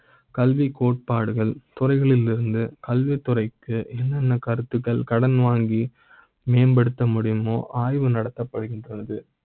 கல்வி, கோட்பாடுகள், துறைகளில் கல்வி துறைக்கு கருத்துகள் கடன் வாங்கி மேம்படுத்த முடியும். ஓ ஆய்வு நடத்த ப்படுகின்றது